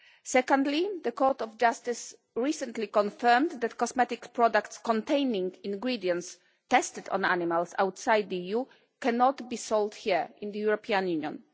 Secondly, the Court of Justice recently confirmed that cosmetic products containing ingredients tested on animals outside the EU cannot be sold here in the European Union.